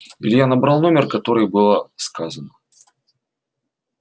илья набрал номер который было сказано